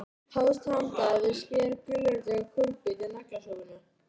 Hófst handa við að skera gulrætur og kúrbít í naglasúpuna.